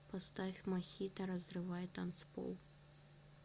поставь мохито разрывай танцпол